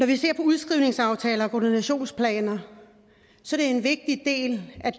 vi ser udskrivningsaftaler og koordinationsplaner som en vigtig del af